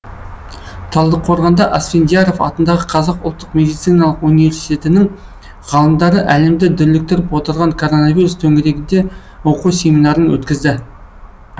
талдықорғанда асфендияров атындағы қазақ ұлттық медициналық университетінің ғалымдары әлемді дүрліктіріп отырған коронавирус төңірегінде оқу семинарын өткізді